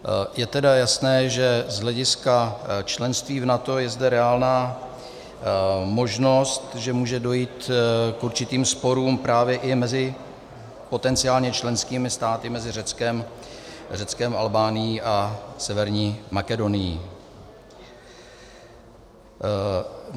Je tedy jasné, že z hlediska členství v NATO je zde reálná možnost, že může dojít k určitým sporům právě i mezi potenciálně členskými státy, mezi Řeckem, Albánií a Severní Makedonií.